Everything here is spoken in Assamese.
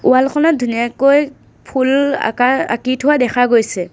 ৱাল খনত ধুনীয়াকৈ ফুল আকাৰ আঁকি থোৱা দেখা গৈছে।